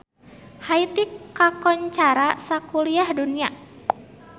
Haiti kakoncara sakuliah dunya